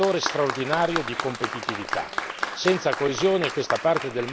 La coesione sociale è un fattore straordinario di competitività